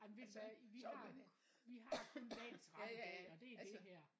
Jamen ved du hvad vi har vi har kun dagens ret i dag og det er det her